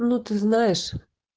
ну ты знаешь